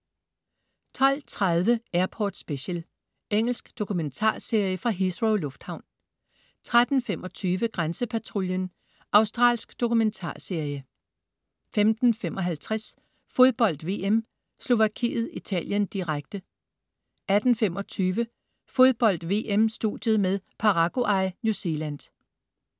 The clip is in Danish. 12.30 Airport Special. Engelsk dokumentarserie fra Heathrow lufthavn 13.25 Grænsepatruljen. Australsk dokumentarserie 15.55 Fodbold VM: Slovakiet-Italien, direkte 18.25 Fodbold: VM-studiet med Paraguay-New Zealand